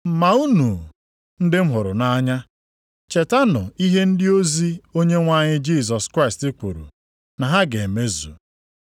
Ma unu, ndị m hụrụ nʼanya, chetanụ ihe ndị ozi Onyenwe anyị Jisọs Kraịst kwuru na ha ga-emezu.